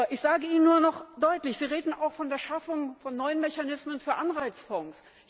Ich sage Ihnen auch noch deutlich Sie reden auch von der Schaffung von neuen Mechanismen für Anreizfonds.